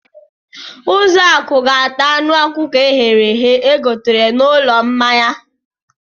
Ụzọakụ ga-ata anụ ọkụkọ e ghere eghe e gotere n'ụlọ mmanya.